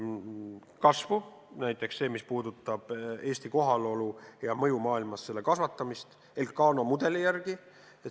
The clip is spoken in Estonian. Näiteks võib tuua eesmärgi, mis puudutab Eesti kohalolu ja mõju maailmas, selle kasvatamist Elcano mudeli järgi.